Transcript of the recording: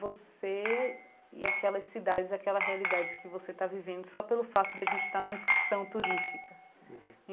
você e aquelas cidades, aquela realidade que você está vivendo só pelo fato de a gente estar numa excursão turística.